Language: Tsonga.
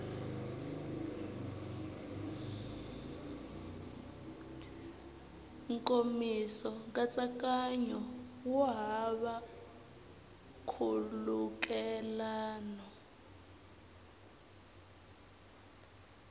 nkomiso nkatsakanyo wu hava nkhulukelano